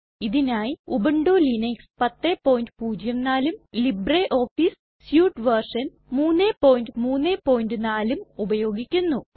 ഇതിനായി Ubuntu Linux 1004ഉം LibreOffice suite version 334ഉം ഉപയോഗിക്കുന്നു